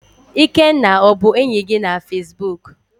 Ikenna ọ bụ enyi gị na Facebook?